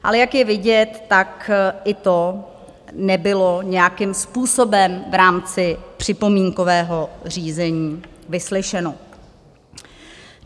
Ale jak je vidět, tak i to nebylo nějakým způsobem v rámci připomínkového řízení vyslyšeno.